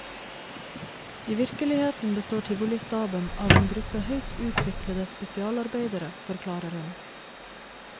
I virkeligheten består tivolistaben av en gruppe høyt utviklede spesialarbeidere, forklarer hun.